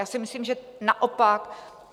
Já si myslím, že naopak.